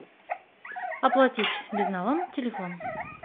оплатить безналом телефон